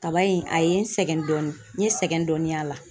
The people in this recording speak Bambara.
Kaba in a ye n sɛgɛn dɔɔnin, n ye sɛgɛn dɔɔnin y'a la .